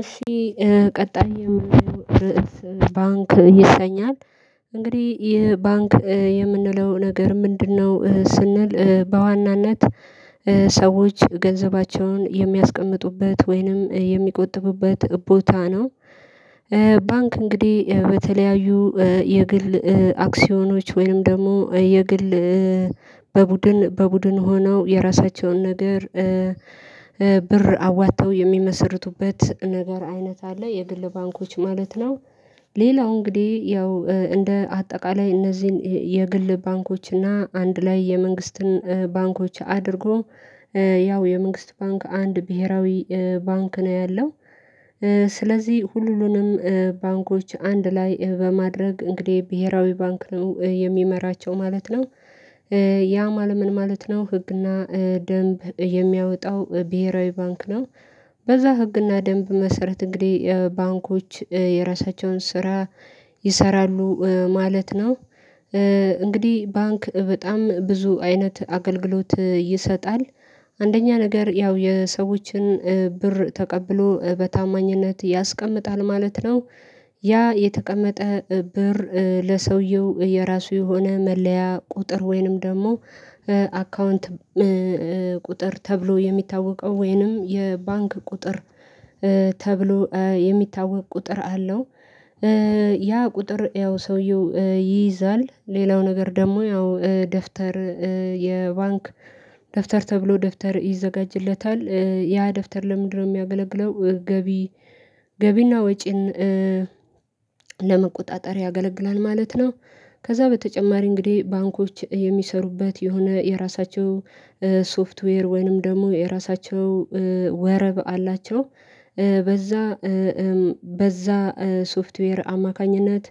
እሺ ቀጣይ የምንለው ርዕስ ባንክ ይሰኛል እንግዲህ ይህ ባንክ የምንለው ነገር ምንድነው ስንል በዋናነት ሰዎች ገንዘባቸውን የሚያስቀምጡበት ወይንም የሚቆጥቡበት ቦታ ነው። ባንክ እንግዲህ በተለያዩ የግል አክሲዮኖች ወይም ደግሞ የግል በቡድን በቡድን ሆነው የራሳቸውን ነገር ብር አዋጥተው የሚመሰርቱበት ነገር አይነት አለ የግል ባንኮች ማለት ነው ሌላው እንግዲህ ያው እንደ አጠቃላይ እነዚህን የግል ባንኮች እና አንድ ላይ የመንግስትን ባንኮች አድርጎ ያው የመንግስት ባንክ አንድ ብሄራዊ ባንክ ነው ያለው። ስለዚህ ሁሉንም ባንኮች አንድ ላይ በማድረግ እንግዲህ ብሄራዊ ባንክ ነው የሚመራቸው ማለት ነው ያ ምን ማለት ነው ህግና ደንብ የሚያወጣው ብሄራዊ ባንክ ነው በዛ ህግና ደንብ መሰረት እንግዲህ ባንኮች የራሳቸውን ስራ ይሰራሉ ማለት ነው እንግዲህ ባንክ በጣም ብዙ አይነት አገልግሎት ይሰጣል አንደኛ ነገር ያው የሰዎችን ብር ተቀብሎ በታማኝነት ያስቀምጣል ማለት ነው ያ የተቀመጠ ብር ለሰውየው የራሱ የሆነ መለያ ቁጥር ወይንም ደግሞ አካውንት ቁጥር ተብሎ የሚታወቀው ወይንም የባንክ ቁጥር ተብሎ የሚታወቅ ቁጥር አለው ያ ቁጥር ያው ሰውየው ይይዛል ሌላው ነገር ደግሞ ያው ደፍተር የባንክ ደፍተር ተብሎ ደፍተር ይዘጋጅለታል ያ ደፍተር ለምንድነው የሚያገለግለው ገቢ ገቢና ወጪን ለመቆጣጠር ያገለግላል ማለት ነው ከዛ በተጨማሪ እንግዲህ ባንኮች የሚሰሩበት የሆነ የራሳቸው ሶፍትዌር ወይንም ደግሞ የራሳቸው ወረብ አላቸው በዛ በዛ ሶፍትዌር አማካኝነት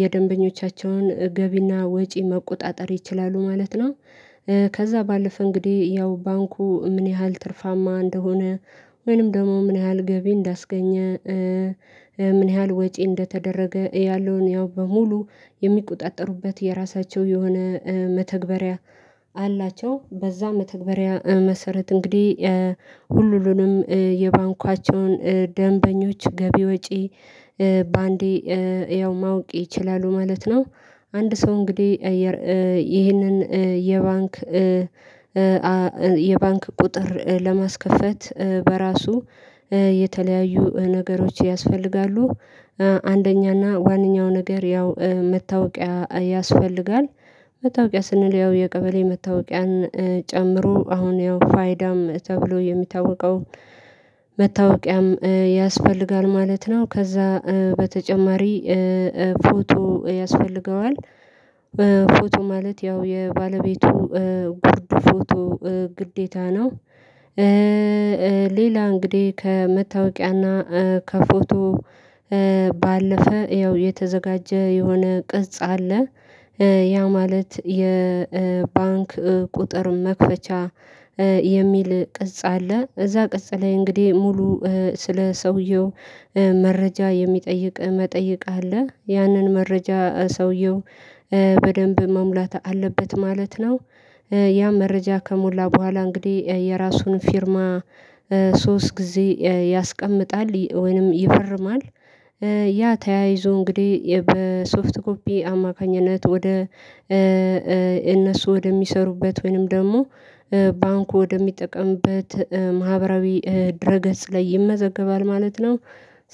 የደንበኞቻቸውን ገቢና ወጪ መቆጣጠር ይችላሉ ማለት ነው ከዛ ባለፈ እንግዲህ ያው ባንኩ ምን ያህል ትርፋማ እንደሆነ ወይንም ደግሞ ምን ያህል ገቢ እንዳስገኘ ምን ያህል ወጪ እንደተደረገ ያለውን ያው በሙሉ የሚቆጣጠሩበት የራሳቸው የሆነ መተግበሪያ አላቸው በዛ መተግበሪያ መሰረት እንግዲህ ሁሉንም የባንካቸውን ደንበኞች ገቢ ወጪ በአንዴ ያው ማወቅ ይችላሉ ማለት ነው አንድ ሰው እንግዲህ ይህንን የባንክ የባንክ ቁጥር ለማስከፈት በራሱ የተለያዩ ነገሮች ያስፈልጋሉ አንደኛና ዋነኛው ነገር ያው መታወቂያ ያስፈልጋል መታወቂያ ስንል ያው የቀበሌ መታወቂያን ጨምሮ አሁን ያው ፋይዳም ተብሎ የሚታወቀው መታወቂያም ያስፈልጋል ማለት ነው ከዛ በተጨማሪ ፎቶ ያስፈልገዋል በፎቶ ማለት ያው የባለቤቱ ጉርድ ፎቶ ግዴታ ነው ሌላ እንግዲህ ከመታወቂያና ከፎቶ ባለፈ ያው የተዘጋጀ የሆነ ቅጽ አለ ያ ማለት የባንክ ቁጥር መክፈቻ የሚል ቅጽ አለ እዛ ቅጽ ላይ እንግዲህ ሙሉ ስለ ሰውየው መረጃ የሚጠይቅ መጠየቅ አለ ያንን መረጃ ሰውየው በደንብ መሙላት አለበት ማለት ነው ያ መረጃ ከሞላ በኋላ እንግዲህ የራሱን ፊርማ ሶስት ጊዜ ያስቀምጣል ወይንም ይፈርማል ያ ተያይዞ እንግዲህ በሶፍት ኮፒ አማካኝነት ወደ እነሱ ወደሚሰሩበት ወይንም ደግሞ ባንኩ ወደሚጠቀምበት ማህበራዊ ድረገጽ ላይ ይመዘገባል ማለት ነው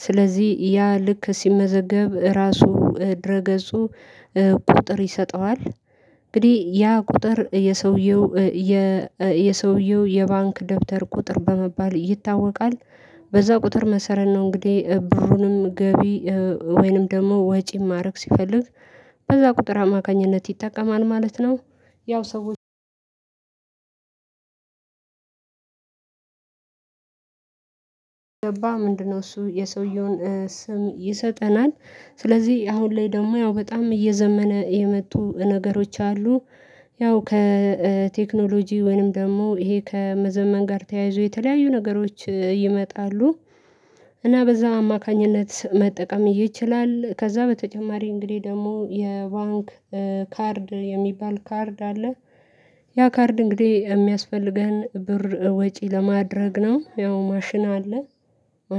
ስለዚህ ያ ልክ ሲመዘገብ ራሱ ድረ ገጹ ቁጥር ይሰጠዋል እንግዲህ ያ ቁጥር የሰውየው የ የሰውየው የባንክ ደብተር ቁጥር በመባል ይታወቃል በዛ ቁጥር መሰረት ነው እንግዲህ ብሩንም ገቢ ወይንም ደግሞ ወጪን ማድረግ ሲፈልግ በዛ ቁጥር አማካኝነት ይጠቀማል ማለት ነው ያው ሰው ገባ ምንድነው እሱ የሰውየውን ስም ይሰጠናል ስለዚህ አሁን ላይ ደግሞ ያው በጣም እየዘመነ የመጡ ነገሮች አሉ ያው ከቴክኖሎጂ ወይንም ደግሞ ይሄ ከመዘመን ጋር ተያይዞ የተለያዩ ነገሮች ይመጣሉ እና በዛ አማካኝነት መጠቀም ይችላል ከዛ በተጨማሪ እንግዲህ ደግሞ የባንክ ካርድ የሚባል ካርድ አለ ያ ካርድ እንግዲህ የሚያስፈልገን ብር ወጪ ለማድረግ ነው ያው ማሽን አለ